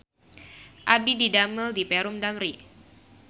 Abdi didamel di Perum Damri